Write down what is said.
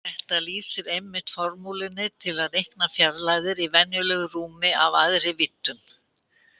Þetta lýsir einmitt formúlunni til að reikna fjarlægðir í venjulegu rúmi af æðri víddum.